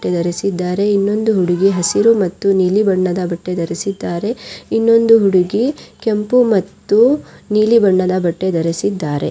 ಧರಿಸಿದ್ದಾರೆ ಇನ್ನೊಂದು ಹುಡುಗಿ ಹಸಿರು ಮತ್ತೆ ನೀಲಿ ಬಣ್ಣದ ಬಟ್ಟೆ ಧರಿಸಿದ್ದಾರೆ ಇನ್ನೊಂದು ಹುಡುಗಿ ಕೆಂಪು ಮತ್ತು ನೀಲಿ ಬಣ್ಣದ ಬಟ್ಟೆ ಧರಿಸಿದ್ದಾರೆ.